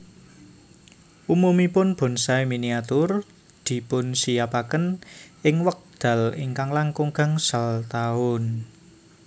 Umumipun bonsai miniatur dipunsinyapaken ing wekdal kirang langkung gangsal taun